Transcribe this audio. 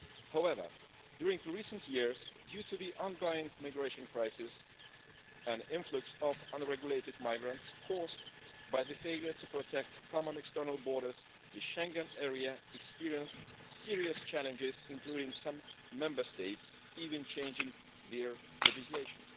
However, during recent years, due to the ongoing migration crisis and influx of unregulated migrants caused by the failure to protect common external borders, the Schengen area experienced serious challenges, including some Member States even changing their legislation.